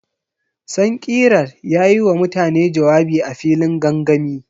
Sankirar ya yi wa mutane jawabi a filin gangami.